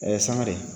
sangare